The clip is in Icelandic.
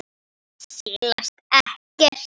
Hann silast ekkert.